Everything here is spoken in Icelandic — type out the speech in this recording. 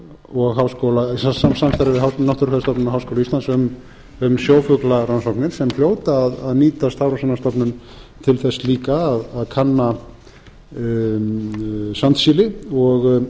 og háskóla íslands um sjófuglarannsóknir sem hljóta að nýtast hafrannsóknastofnun til þess líka að kanna sandsíli og